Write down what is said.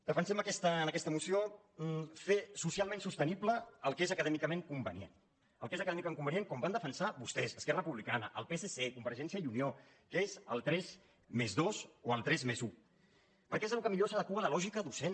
defensem en aquesta moció fer socialment sostenible el que és acadèmicament convenient el que és acadèmicament convenient com van defensar vostès esquerra republicana el psc convergència i unió que és el tres+dos o el tres+un perquè és el que millor s’adequa a la lògica docent